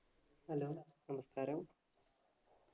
hello നമസ്കാരം